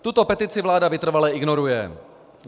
Tuto petici vláda vytrvale ignoruje.